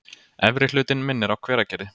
Efri hlutinn minnir á Hveragerði.